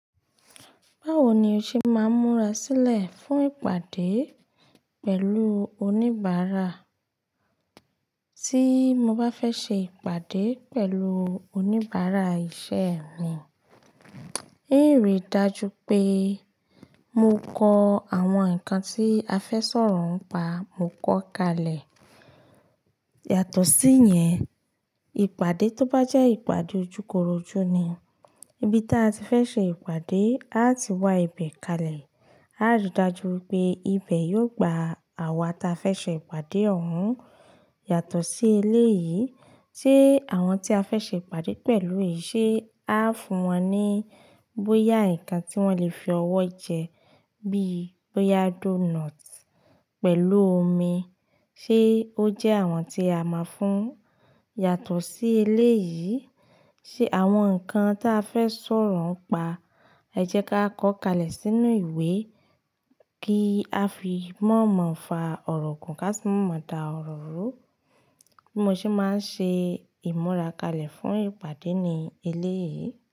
Báwo ni o ṣe máa ń múra sílẹ̀ fún ìpàdé pẹ̀lú oníbàárà? Tí mo bá fẹ́ ṣe ìpàdé pẹ̀lú oníbàárà iṣẹ́ mi, hiń rí i dájú pé mo kọ àwọn nǹkan tí a fẹ́ sọ̀rọ̀ ń pa, mo kọ́ kalẹ̀. Yàtọ̀ sí yẹn, ìpàdé tó bá jẹ́ ìpàdé ojúkorojú ni, ibi tí a ti fẹ́ ṣe ìpàdé, aá ti wá ibẹ̀ kalẹ̀. Aá rí i dájú wípé ibẹ̀ yóò gba àwa tí a fẹ́ ṣe ìpàdé ọ̀hún. Yàtọ̀ sí eléyìí, ṣe àwọn tí a fẹ́ ṣe ìpàdé pẹ̀lú yìí ṣé Aá fún wọn ní bóyá ǹkan tí wọ́n lè fi ọwọ́ jẹ bí i bóyá doónọt pẹ̀lú omi, ṣé ó jẹ́ àwọn tí a ma fún? Yàtọ̀ sí eléyìí, ṣe àwọn nǹkan tí a fẹ́ sọ̀rọ̀ ń pa, ẹ jẹ́ ká kọ́ kalẹ̀ sínú ìwé kí a fi mọ́ mọọ fa ọ̀rọ̀ gùn ká sì mọ́ dá ọ̀rọ̀ rú. Bí mo ṣe máa ń ṣe ìmúra kalẹ̀ fún ìpàdé ní eléyìí.